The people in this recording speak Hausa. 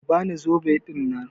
Ki bani zobe ɗinnan.